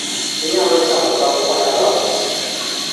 inyalo chamo tong' kod alot